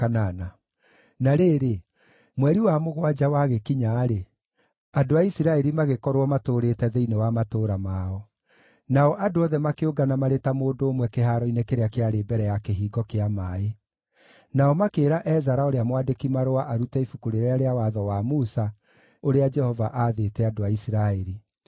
Na rĩrĩ, mweri wa mũgwanja wagĩkinya-rĩ, andũ a Isiraeli magĩkorwo maatũũrĩte thĩinĩ wa matũũra mao. Nao andũ othe makĩũngana marĩ ta mũndũ ũmwe kĩhaaro-inĩ kĩrĩa kĩarĩ mbere ya Kĩhingo kĩa Maaĩ. Nao makĩĩra Ezara ũrĩa mwandĩki-marũa arute Ibuku rĩrĩa rĩa Watho wa Musa ũrĩa Jehova aathĩte andũ a Isiraeli.